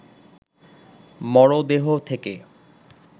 মরদেহ থেকে